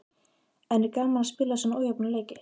En er gaman að spila svona ójafna leiki?